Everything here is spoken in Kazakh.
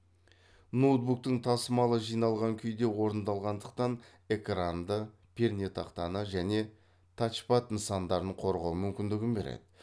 ноутбуктың тасымалы жиналған күйде орындалғандықтан экранды пернетақтаны және тачпад нысандарын қорғау мүмкіндігін береді